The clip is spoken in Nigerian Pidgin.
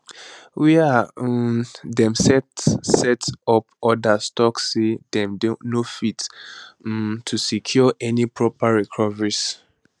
wia um dem set set up odas tok say dem no fit um to secure any proper recoveries